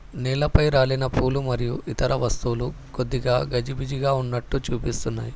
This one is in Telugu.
నీళ్లపై రాలిన పూలు మరియు ఇతర వస్తువులు కొద్దిగా గజిబిజిగా ఉన్నట్టు చూపిస్తున్నాయి.